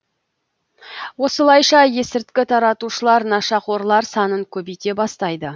осылайша есірткі таратушылар нашақорлар санын көбейте бастайды